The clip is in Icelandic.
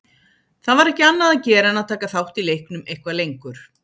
Það var ekki annað að gera en að taka þátt í leiknum eitthvað lengur.